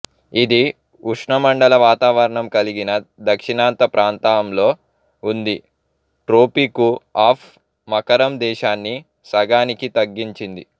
ఇది ఉష్ణమండల వాతావరణం కలిగిన దక్షిణాంత ప్రాంతంలో ఉంది ట్రోపికు ఆఫ్ మకరం దేశాన్ని సగానికి తగ్గించింది